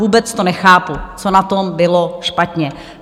Vůbec to nechápu, co na tom bylo špatně.